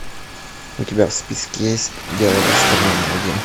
у тебя в списке есть дело гастронома один